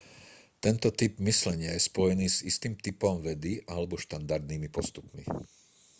tento typ myslenia je spojený s istým typom vedy alebo štandardnými postupmi